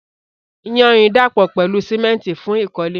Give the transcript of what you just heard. Iyanrìn dàpọ̀ pẹ̀lú símẹ́ńtì fún ìkọ́lé.